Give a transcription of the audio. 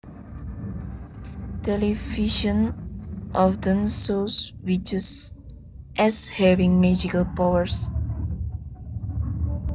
Television often shows witches as having magical powers